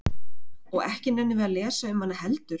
Og ekki nennum við að lesa um hana heldur?